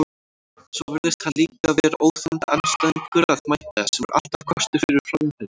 Svo virðist hann líka vera óþolandi andstæðingur að mæta, sem er alltaf kostur fyrir framherja.